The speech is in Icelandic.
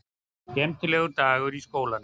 Skemmtilegur dagur í skólanum!